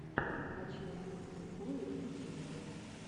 хочу увидеть приколы в ютьюбе